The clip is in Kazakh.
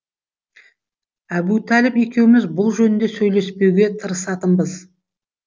әбутәліп екеуміз бұл жөнінде сөйлеспеуге тырысатынбыз